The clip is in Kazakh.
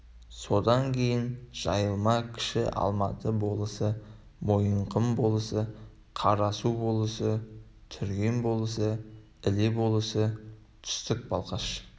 содан кейін жайылма кіші алматы болысы мойынқұм болысы қарасу болысы түрген болысы іле болысы түстік балқаш